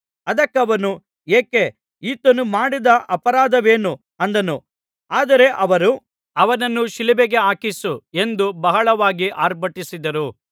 ಅದಕ್ಕವನು ಏಕೆ ಈತನು ಮಾಡಿದ ಅಪರಾಧವೇನು ಅಂದನು ಆದರೆ ಅವರು ಅವನನ್ನು ಶಿಲುಬೆಗೆ ಹಾಕಿಸು ಎಂದು ಬಹಳವಾಗಿ ಆರ್ಭಟಿಸಿದರು